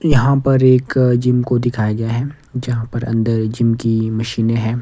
यहाँ पर एक जिम को दिखाया गया है जहाँ पर अंदर जिम की मशीनें हैं।